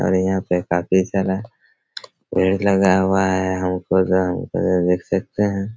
और यहाँ पे काफ़ी सारा पेड़ लगा हुआ है हमको तो हमको तो देख सकते है।